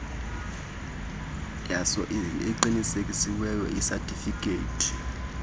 yaso eqinisekisiweyo isatifiketi